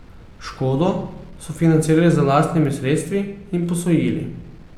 Škodo so financirali z lastnimi sredstvi in posojili.